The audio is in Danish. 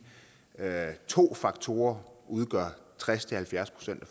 to faktorer udgør tres til halvfjerds procent af